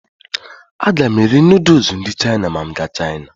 Aga m eri nuduls ndị Chaina ma m gaa Chaina.